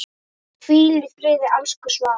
Hvíl í friði, elsku Svafa.